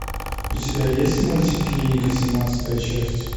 у тебя есть мультик клиника семнадцатая часть